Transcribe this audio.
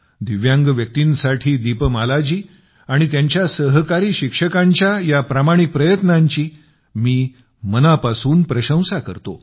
दिव्यांग व्यक्तींसाठी दीपमालाजी आणि त्यांच्या सहकारी शिक्षकांच्या या प्रामाणिक प्रयत्नांची मी मनापासून प्रशंसा करतो